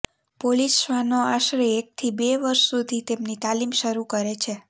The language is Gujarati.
પોલીસ શ્વાનો આશરે એકથી બે વર્ષ સુધી તેમની તાલીમ શરૂ કરે છે